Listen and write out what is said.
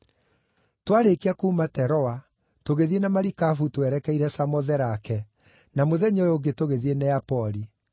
Twaarĩkia kuuma Teroa, tũgĩthiĩ na marikabu twerekeire Samotherake, na mũthenya ũyũ ũngĩ tũgĩthiĩ Neapoli.